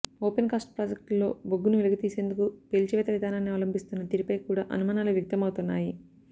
open cast ప్రాజెక్టుల్లో బొగ్గును వెలికి తీసేందుకు పేల్చివేత విధానాన్ని అవలంభిస్తున్న తీరుపై కూడా అనుమానాలు వ్యక్తం అవుతున్నాయి